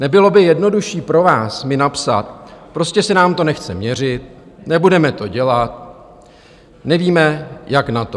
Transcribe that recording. Nebylo by jednodušší pro vás mi napsat: Prostě se nám to nechce měřit, nebudeme to dělat, nevíme, jak na to.